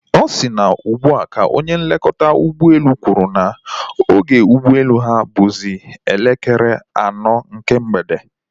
Ọ si na ugbua ka onye nlekọta ụgbọelu kwụrụ na oge ụgbọelu ha bụzi elekere anọ nke mgbede